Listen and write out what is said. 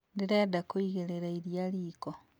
Ndĩrenda kũigĩrĩra iria riko